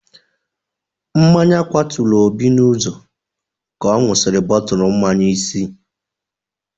Mmanya kwaturu Obi n'ụzọ ka ọ ṅụsịrị bọtụlụ mmanya isi.